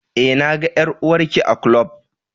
e, na ga ƴar'uwar Ki a ƙlub.